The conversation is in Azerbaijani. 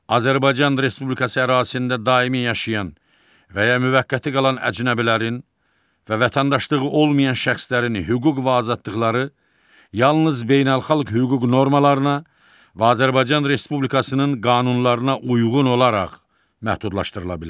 Azərbaycan Respublikası ərazisində daimi yaşayan və ya müvəqqəti qalan əcnəbilərin və vətəndaşlığı olmayan şəxslərin hüquq və azadlıqları yalnız beynəlxalq hüquq normalarına və Azərbaycan Respublikasının qanunlarına uyğun olaraq məhdudlaşdırıla bilər.